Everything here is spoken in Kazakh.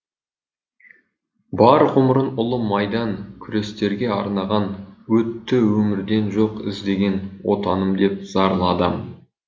бар ғұмырын ұлы майдан күрестерге арнаған өтті өмірден жоқ іздеген отаным деп зарлы адам